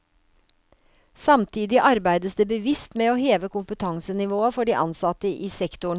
Samtidig arbeides det bevisst med å heve kompetansenivået for de ansatte i sektoren.